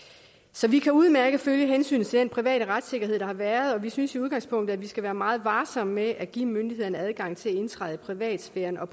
så vi kan udmærket følge hensynet til den private retssikkerhed der har været og vi synes i udgangspunktet at vi skal være meget varsomme med at give myndighederne adgang til at indtræde i privatsfæren og